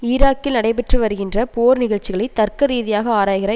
ஈராக்கில் நடைபெற்று வருகின்ற போர் நிகழ்ச்சிகளை தர்க்க ரீதியாக ஆராய்கிற